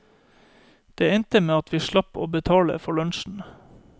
Det endte med at vi slapp å betale for lunsjen.